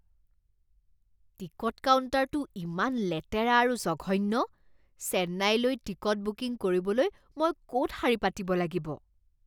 Ticket কাউণ্টাৰটো ইমান লেতেৰা আৰু জঘন্য। চেন্নাইলৈ টিকট বুকিং কৰিবলৈ মই ক'ত শাৰী পাতিব লাগিব?